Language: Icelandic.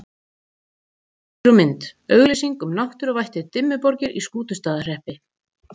Heimildir og mynd: Auglýsing um náttúruvættið Dimmuborgir í Skútustaðahreppi.